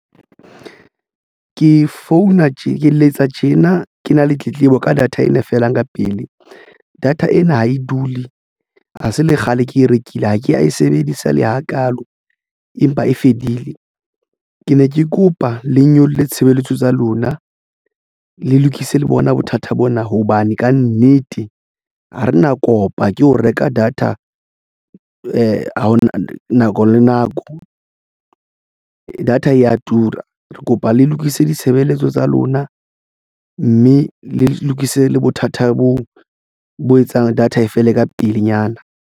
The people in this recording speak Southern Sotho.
Ke founa tje ke letsa tjena ke na le tletlebo ka data ena e felang ka pele. Data ena ha e dule ha se le kgale ke e rekile ha ke ya e sebedisa le hakaalo empa e fedile. Ke ne ke kopa le nyolle tshebeletso tsa lona. Le lokise le bona bothata bona hobane kannete ha re na kopa ke ho reka data ha ho na nako le nako data ya tura re kopa le lokise ditshebeletso tsa lona mme le lokise le bothata boo bo etsang data e fele ka pelenyana.